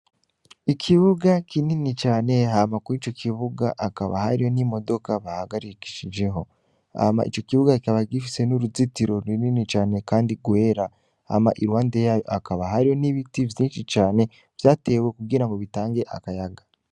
Ikibuga kinini cane hama kwico kibuga hakaba hariho imodoka bahagarikishijeho. Hama ico kibuga kikaba gifise n'uruzitiro runini cane kandi rwera, hama iruhande y'aho hakaba hariho n'ibiti vyinshi cane vyatewe kugirango bitange akayaga.